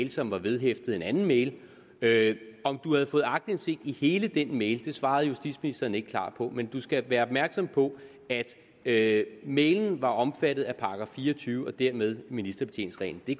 som var vedhæftet en anden mail mail om du havde fået aktindsigt i hele den mail svarede justitsministeren ikke klart på men du skal være opmærksom på at mailen var omfattet af § fire og tyve og dermed ministerbetjeningsreglen det